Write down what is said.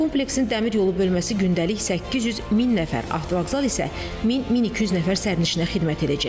Kompleksin dəmir yolu bölməsi gündəlik 800 min nəfər, avtovağzal isə 1000-1200 nəfər sərnişinə xidmət edəcək.